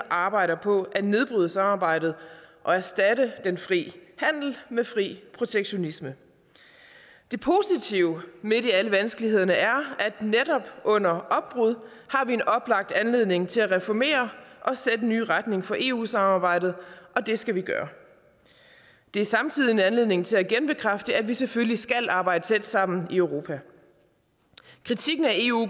arbejder på at nedbryde samarbejdet og erstatte den frie handel med fri protektionisme det positive midt i alle vanskelighederne er at netop under opbrud har vi en oplagt anledning til at reformere og sætte en ny retning for eu samarbejdet og det skal vi gøre det er samtidig en anledning til at genbekræfte at vi selvfølgelig skal arbejde tæt sammen i europa kritikken af eu